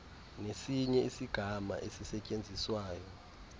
nesinye isigama esisetyenziswayo